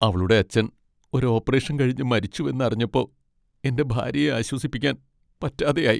അവളുടെ അച്ഛൻ ഒരു ഓപ്പറേഷൻ കഴിഞ്ഞ് മരിച്ചുവെന്ന് അറിഞ്ഞപ്പോ എന്റെ ഭാര്യയെ ആശ്വസിപ്പിക്കാൻ പറ്റാതെയായി.